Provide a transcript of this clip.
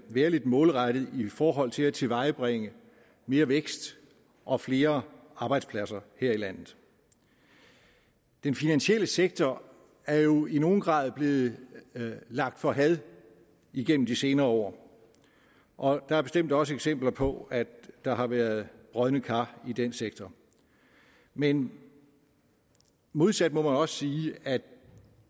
være lidt målrettet i forhold til at tilvejebringe mere vækst og flere arbejdspladser her i landet den finansielle sektor er jo i nogen grad blevet lagt for had igennem de senere år og der er bestemt også eksempler på at der har været brodne kar i den sektor men modsat må man også sige at